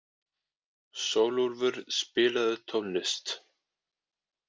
Sólúlfur, spilaðu tónlist.